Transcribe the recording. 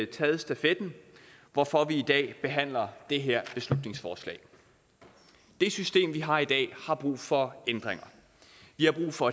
taget stafetten hvorfor vi i dag behandler det her beslutningsforslag det system vi har i dag har brug for ændringer vi har brug for